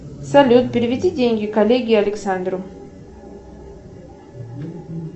салют переведи деньги коллеге александру